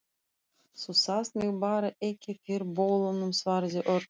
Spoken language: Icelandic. Þú sást mig bara ekki fyrir bolanum, svaraði Örn.